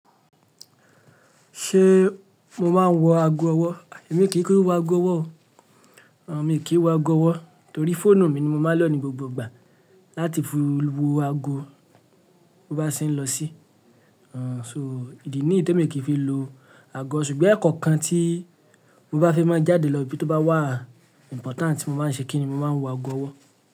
Ṣe mo máa ń wọ ago ọwọ́? Èmi kì í ku ku wọ ago ọwọ́ o. Mi kì í wọ ago ọwọ́ torí fóònù mi ni mo máa ń lò ní gbogbo ìgbà láti fi wo ago mo bá ṣe ń lọ sí. Àn, so ìdí ní yii tè mi kì í fi lo ago ṣùgbọ́n ẹ̀ẹ̀kọ̀kan tí mo bá fi máa jáde lọ ibi tó bá wà important tí mo maa ń ṣe kí ni mo máa ń wọ ago ọwọ́.